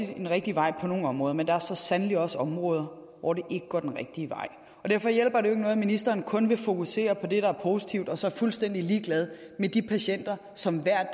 den rigtige vej på nogle områder men der er så sandelig også områder hvor det ikke går den rigtige vej og derfor hjælper det ikke noget at ministeren kun vil fokusere på det der er positivt og så er fuldstændig ligeglad med de patienter som hver